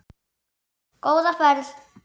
Góða ferð,